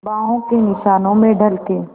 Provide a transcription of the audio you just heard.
बाहों के निशानों में ढल के